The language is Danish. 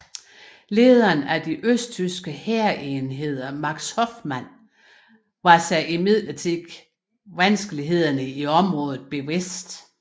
Lederen af de østtyske hærenheder Max Hoffmann var sig imidlertid vanskelighederne i området bevidst